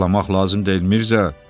Ağlamaq lazım deyil, Mirzə.